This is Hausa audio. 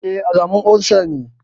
E, alamar olsa ne.